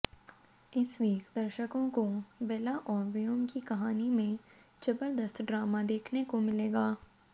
इस वीक दर्शकों को बेला और व्योम की कहानी में जबरदस्त ड्रामा देखने को मिलेगा